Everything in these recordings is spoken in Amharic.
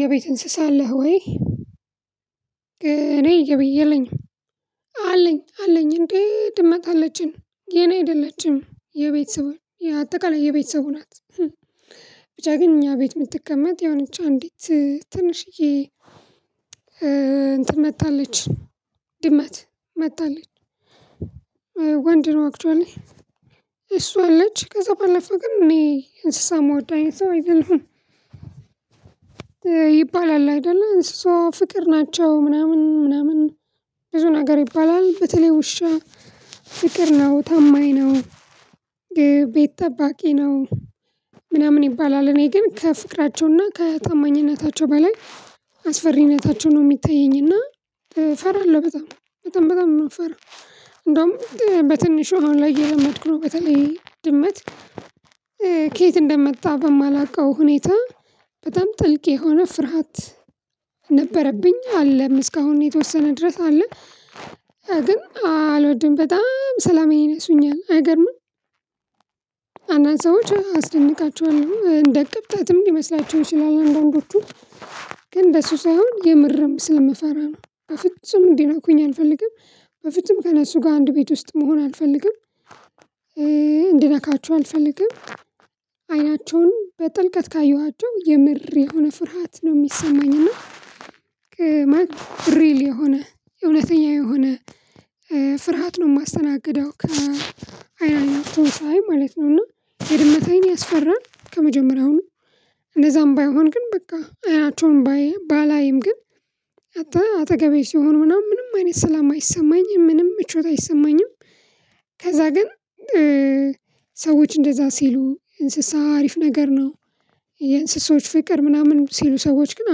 የቤት እንስሳ አለህ ወይ? እኔ የለኝም አለኝ እንዴ ድመት አለችኝ የኔ አይደለችም የቤተሰብ የአጠቃላይ የቤተሰቡ ናት። ብቻ ግን እኛ ቤት የምትቀመጥ የሆነች አንዲት ትንሽዬ እንትን መታለች ድመት መታለች። ወንድ ነው አክችዋሊ እሷ አለች ከዛ ባለፈ ግን እኔ እንስሳ የምወዳኝ ሰው አይደለሁም። ይባላል አይደለ እንስሳ ፍቅር ናቸው ምናምን ብዙ ነገር ይባላል በተለይ ውሻ ፍቅር ነው ታማኝ ነው። ቤት ጠባቂ ነው ምናምን ይባላል። እኔ ግን ከፍቅራቸውና ከታማኝነታቸው በላይ አስፈሪነታቸው ነው የሚታየኝና እፈራለሁ። በጣም በጣም በጣም የምፈራው እንደውም በትንሹ አሁን ላይ እየለመድኩ ነው። በተለይ ድመት ከየት እንደመጣ በማላውቀው ሁኔታ በጣም ጥልቅ የሆነ ፍርሃት ነበረብኝ። አለም እስካሁን የተወሰነ ድረስ አለ። ግን አልወድም በጣም ሰላም ይነሱኛል አይገርምም። አናንስ ሰዎች አስደንቃቸዋለሁ እንደ ቅብጠትም ሊመስላቸው ይችላል። አንዳንዶቹ ግን እንደሱ ሳይሆን የምርም ስለምፈራ ነው። በፍጹም እንዲነኩኝ አልፈልግም በፍጹም ከእነሱ ጋር አንድ ቤት ውስጥ መሆን አልፈልግም። እንድነካቸው አልፈልግም። አይናቸውን በጥልቀት ካየኋቸው የምር የሆነ ፍርሃት ነው የሚሰማኝ እና እዉነተኛተኛ የሆነ ፍርሃት ነው የማስተናግደው ከአይናቸው ሳይ ማለት ነው። እና የድመት አይን ያስፈራል። ከመጀመሪያውም እንደዛም ባይሆን ግን በቃ አይናቸውን ባላይም ግን አጠገቤ ሲሆን ምናምን ምንም አይነት ሰላም አይሰማኝም ምንም ምቾት አይሰማኝም። ከዛ ግን ሰዎች እንደዛ ሲሉ እንስሳ አሪፍ ነገር ነው። የእንስሳዎች ፍቅር ምናምን ሲሉ ሰዎች ግን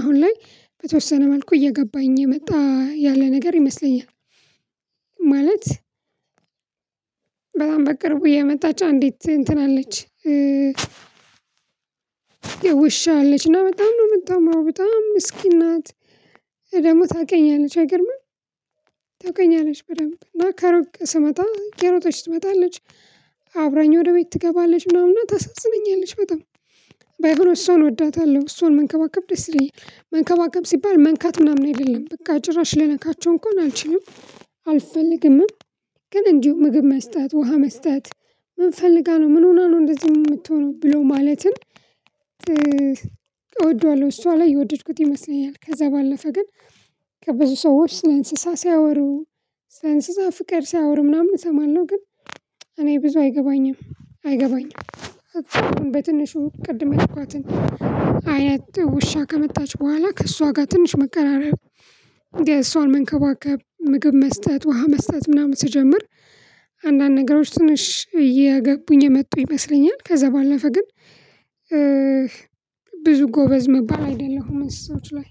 አሁን ላይ በተወሰነ መልኩ እየገባኝ የመጣ ያለ ነገር ይመስለኛል። ማለት በጣም በቅርቡ የመጣች አንዲት እንትን አለች። ዉሻ አለች እና በጣም ነው የምትማረው በጣም ሚስኪን ናት። ደግሞ ታውቀኛለች አይገርምም። ታውቀኛለች በደንብ እና ከሩቅ ስመጣ እየሮጠች ትመጣለች። ግን አልወድም በጣም ሰላም ይነሱኛል አይገርምም። አንዳንድ ሰዎች አስደንቃቸዋለሁ እንደ ቅብጠትም ሊመስላቸው ይችልላ አንዳንዶቹ ግን እንደሱ ሳይሆን የምርም ስለምፈራ ነው። በፍጹም እንዲነኩኝ አልፈልግም በፍጹም ከእነሱ ጋር አንድ ቤት ውስጥ መሆን አልፈልግም። እንድነካችሁ አልፈልግም። አይናቸውን በጥልቀት ካየኋቸው የምር የሆነ ፍርሃት ነው የሚሰማኝ። እና ሪል የሆነ የሁለተኛ የሆነ አልፈልግምም። ግን እንዲሁ ምግብ መስጠት ውሃ መስጠት ምን ፈልጋ ነው ምን ሆና ነው እንደዚህ የምትሆነው? ብሎ ማለትን እወደዋለሁ እሷ ላይ የወደድኩት ይመስለኛል። ከዛ ባለፈ ግን ከብዙ ሰዎች ስለ እንስሳ ሲያወሩ ስለ እንስሳ ፍቀር ሲያወሩ ምናምን እሰማለሁ ግን እኔ ብዙ አይገባኝም አይገባኝም። በትንሹ ቅድም የልኳትን አያት ውሻ ከመጣች በኋላ ከእሷ ጋር ትንሽ መቀራረብ። እንዴ እሷን መንከባከብ ምግብ መስጠት ውሃ መስጠት ምናምን ስጀምር አንዳንድ ነገሮች ትንሽ እየገቡኝ የመጡ ይመስለኛል። ከዛ ባለፈ ግን ብዙ ጎበዝ መባል አይደለሁም እንሰሳዎች ላይ